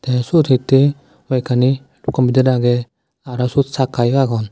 tey seyot hittey hoiekani compitar agey aro seyot sakka yo agon.